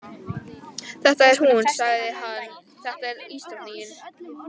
Þetta er hún, sagði hann, þetta er ísdrottningin.